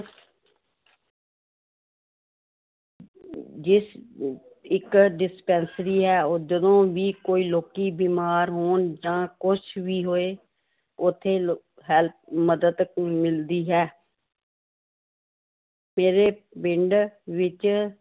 ਜਿਸ ਅਹ ਇੱਕ dispensary ਹੈ ਉਹ ਜਦੋਂ ਵੀ ਕੋਈ ਲੋਕੀ ਬਿਮਾਰ ਹੋਣ ਜਾਂ ਕੁਛ ਵੀ ਹੋਏ ਉੱਥੇ ਲ help ਮਦਦ ਮਿਲਦੀ ਹੈ ਮੇਰੇ ਪਿੰਡ ਵਿੱਚ